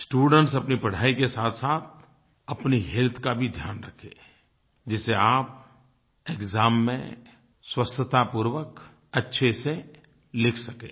students अपनी पढ़ाई के साथसाथ अपनी हेल्थ का भी ध्यान रखें जिससे आप एक्साम में स्वस्थतापूर्वक अच्छे से लिख सकें